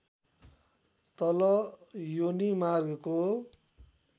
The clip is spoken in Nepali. तल योनीमार्गको